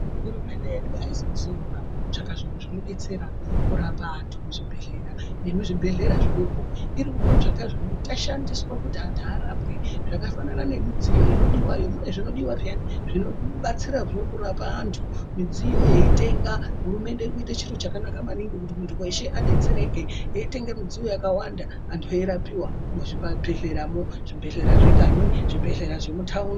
Hurumende yedu haisi kuzorora kutsvaka zviro zvinodetsera kurapa antu muzvibhehlera nemuzvibhehlera zvidoko irikutsvake zvinoshandiswa kuti antu araapwe zvakafanana nemidziyo inodiya, munezvinodiwa peyani zvinobatsira zve kurapa antu midziyo yeitenga hurumende irikuite chiro chakanaka maningi kuti muntu weshe adetsereke eitenge midziyo yakawanda antu eirapwa muzvibhehleramwo, zvibhehlera zvekanyi zvibhehlera zvemutaundi....